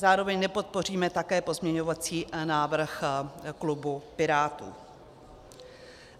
Zároveň nepodpoříme také pozměňovací návrh klubu Pirátů.